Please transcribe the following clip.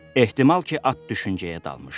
Ehtimal ki, at düşüncəyə dalmışdı.